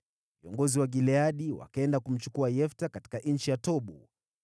viongozi wa Gileadi wakaenda kumchukua Yefta katika nchi ya Tobu.